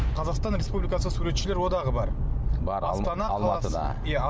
қазақстан республикасы суретшілер одағы бар бар алматыда